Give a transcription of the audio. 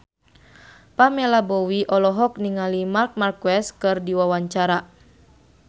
Pamela Bowie olohok ningali Marc Marquez keur diwawancara